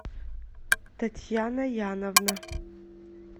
татьяна яновна